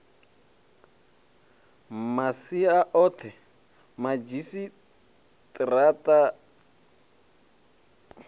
masia o the madzhisi tara